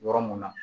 Yɔrɔ mun na